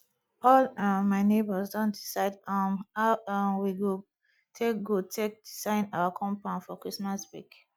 all um my nebors don decide um how um we go take go take design our compound for christmas break